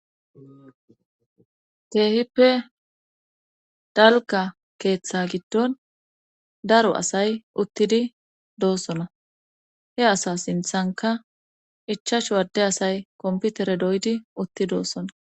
Keehippe dalka keeththa giddon daro asay uttidi doossona he asa sinthanka ichashuwadde asay komputere doydi utti doossona